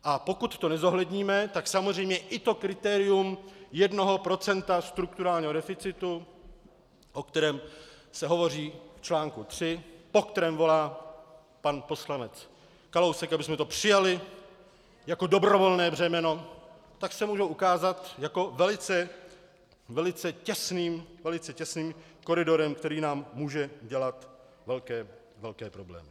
A pokud to nezohledníme, tak samozřejmě i to kritérium jednoho procenta strukturálního deficitu, o kterém se hovoří v článku 3, po kterém volá pan poslanec Kalousek, abychom to přijali jako dobrovolné břemeno, tak se mohou ukázat jako velice těsným koridorem, který nám může dělat velké problémy.